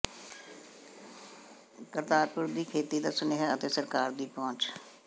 ਕਰਤਾਰਪੁਰ ਦੀ ਖੇਤੀ ਦਾ ਸੁਨੇਹਾ ਅਤੇ ਸਰਕਾਰ ਦੀ ਪਹੁੰਚ